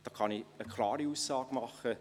Dazu kann ich eine klare Aussage machen: